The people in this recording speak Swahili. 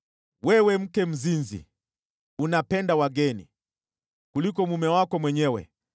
“ ‘Wewe mke mzinzi! Unapenda wageni, kuliko mume wako mwenyewe.